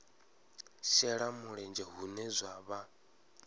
shela mulenzhe hune zwa vha